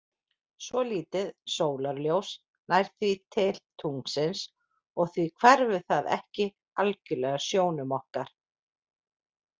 Svolítið sólarljós nær því til tunglsins og því hverfur það ekki algjörlega sjónum okkar.